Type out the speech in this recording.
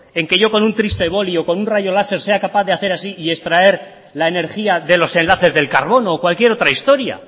en que yo con un triste boli o con un rayo láser sea capaz de hacer así y extraer la energía de los enlaces del carbono o cualquier otra historia